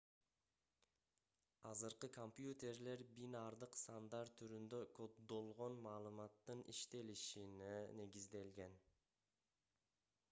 азыркы компьютерлер бинардык сандар түрүндө коддолгон маалыматтын иштелишине негизделген